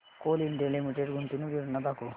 Coal India Limited गुंतवणूक योजना दाखव